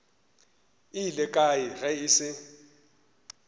ile kae ge e se